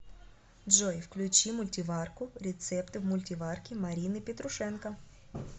джой включи мультиварку рецепты в мультиварке марины петрушенко